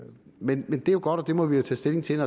men det er jo godt og det må vi tage stilling til